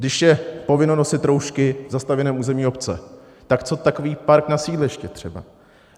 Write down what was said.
Když je povinnost nosit roušky v zastavěném území obce, tak co takový park na sídlišti třeba?